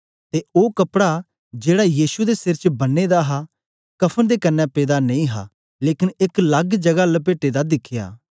ते ओ कपडा जेड़ा यीशु दे सिर च बन्ने दा हा कफ़न दे कन्ने पेदा नेई हा लेकन एक लग्ग जगा लपेटे दा दिखया